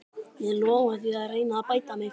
Ég lofa því að reyna að bæta mig.